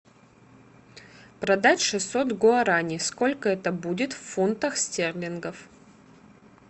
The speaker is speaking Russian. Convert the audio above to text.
продать шестьсот гуарани сколько это будет в фунтах стерлингов